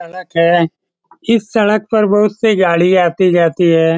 सड़क है इस सड़क पर बहुत सी गाड़ी आती जाती हैं।